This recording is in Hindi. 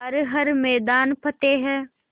कर हर मैदान फ़तेह